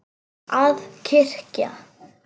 Að kyrja.